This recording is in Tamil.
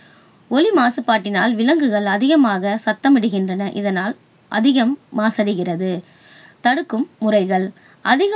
ஒலி மாசுபாட்டினால் விலங்குகள் அதிகமாக சத்தம் இடுகின்றன. இதனால் அதிகம் மாசடைகிறது. தடுக்கும் முறைகள்.